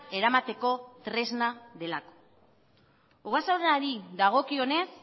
eramateko tresna delako ogasunari dagokionez